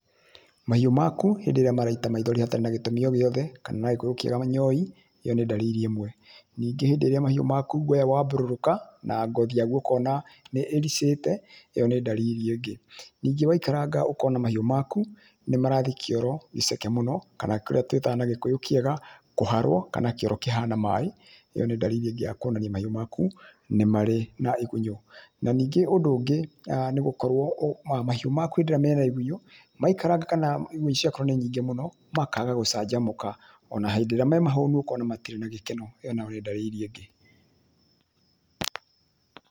Mahiũ maku hĩndĩ ĩrĩa maraita maithori hatarĩ na gĩtũmi o gĩothe, kana na gĩkũyũ kĩega, manyoi, ĩyo nĩ ndariri ĩmwe. Ningĩ hĩndĩ ĩrĩa mahiũ maku guoya waambũrũka, na ngothi yaguo ũkona nĩ ĩricĩte, ĩyo nĩ ndariri ĩngĩ. Ningĩ waikaranga ũkona mahiũ makũ nĩ marathi kĩoro gĩceke mũno, kana kĩrĩa tũĩtaga na gĩkũyũ kĩega, kũharwo, kana kĩoro kĩhana maaĩ, ĩyo nĩ ndariri ĩngĩ ya kũonania mahiũ maku nĩ marĩ na igunyũ. Na ningĩ ũndũ ũngĩ, ah nĩ gũkorwo mahiũ maku hĩndĩ ĩrĩa mena igunyũ, maikaranga kana igunyũ cigakorwo nĩ nyingĩ mũno, makaaga gũcanjamũka, ona hĩndĩ ĩrĩa me mahũnu, ũkona matirĩ na gĩkeno, ĩyo nayo nĩ ndariri ĩngĩ.